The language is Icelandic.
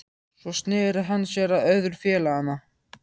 Svo sneri hann sér að öðrum félaganna